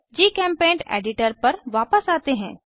जीचेम्पेंट editor पर वापस आते हैं